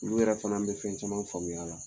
Olu yɛrɛ fana bɛ fɛn caman faamuya a la.